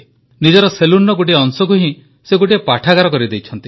ନିଜର ସେଲୁନ୍ର ଗୋଟିଏ ଅଂଶକୁ ହିଁ ସେ ଗୋଟିଏ ପୁସ୍ତକାଳୟ କରିଦେଇଛନ୍ତି